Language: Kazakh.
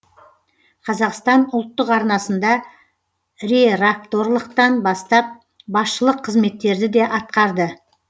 қазақстан ұлттық арнасында реракторлықтан бастап басшылық қызметтерді де атқарды